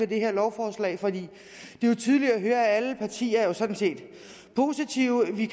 det her lovforslag for det er tydeligt at høre at alle partier jo sådan set er positive vi